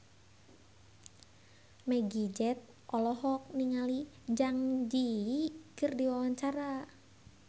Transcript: Meggie Z olohok ningali Zang Zi Yi keur diwawancara